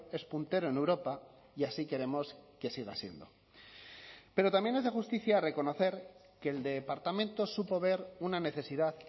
es puntero en europa y así queremos que siga siendo pero también es de justicia reconocer que el departamento supo ver una necesidad